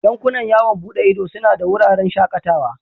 Yankunan yawon bude ido suna da wuraren shakatawa.